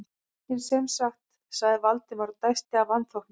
En sem sagt- sagði Valdimar og dæsti af vanþóknun.